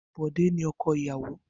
Bode ni ọkọ iyawo.